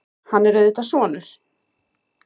Hann er auðvitað sonur